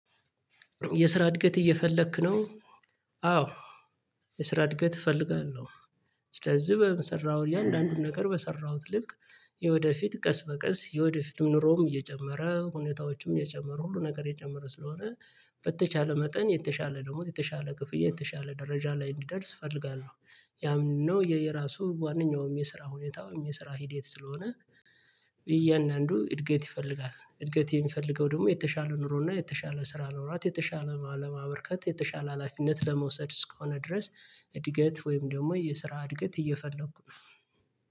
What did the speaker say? የስራ እድገት እየፈለክ ነው? አዎ የስራ እድገት እፈልጋለሁ። ስለዚህ በምሰራው እያንዳንዱን ነገር በሰራሁት ልክ የወደፊት ቀስ በቀስ የወደፊትም ኑሮም እየጨመረ ሁኔታዎችም እየጨመሩ ሁሉ ነገር እየጨመረ ስለሆነ በተቻለ መጠን የተሻለ ደሞዝ የተሻለ ክፍያ የተሻለ ደረጃ ላይ እንዲደርስ እፈልጋለሁ። ያ ምንድነው? የራሱ ዋናውም የስራ ሁኔታውም የስራ ሂዴት ስለሆነ። የእያንዳንዱ እድገት ይፈልጋል እድገት የሚፈልገው ደግሞ የተሻለ ኑሮና የተሻለ ስራ ኖሮት የተሻለ አለም አበርከት የተሻለ ሀላፊነት ለመውሰድ እስከሆነ ድረስ እድገት ወይም ደግሞ የስራ እድገት እየፈለኩ ነው።